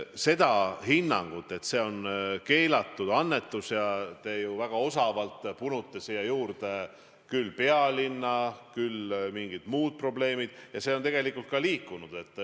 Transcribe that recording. See hinnang, kas see on keelatud annetus – te punute muidugi väga osavalt siia juurde küll pealinna, küll mingid muud probleemid –, on ka aja jooksul muutunud.